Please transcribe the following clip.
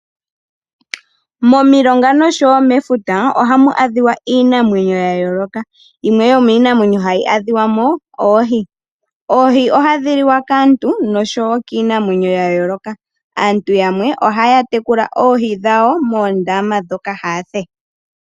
Momilonga noshowo Mefuta ohamu adhiwa iinamwenyo yayoloka yimwe yomiinamwenyo hayi adhiwamo oohi, oohi ohadhi liwa kaantu noshowo kiinamwenyo yayoloka. Aantu yamwe ohaya tekula oohi dhawo moondama dhoka haathe.